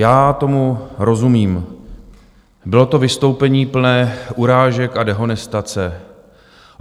Já tomu rozumím, bylo to vystoupení plné urážek a dehonestace.